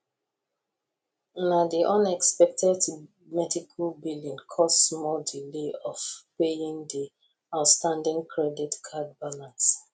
na di unexpected medical billing cause small delay of paying di outstanding credit card balance